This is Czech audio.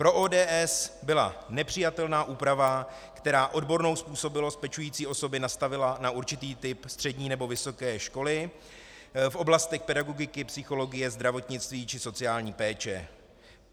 Pro ODS byla nepřijatelná úprava, která odbornou způsobilost pečující osobě nastavila na určitý typ střední nebo vysoké školy v oblastech pedagogiky, psychologie, zdravotnictví či sociální péče.